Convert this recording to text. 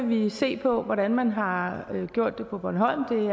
vi se på hvordan man har gjort det på bornholm